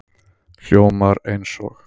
Hljómar eins og